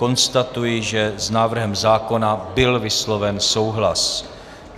Konstatuji, že s návrhem zákona byl vysloven souhlas.